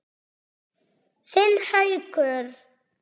Þinn Haukur.